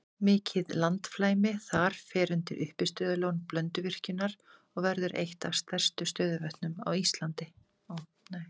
Mikið landflæmi þar fer undir uppistöðulón Blönduvirkjunar og verður eitt af stærstu stöðuvötnum landsins.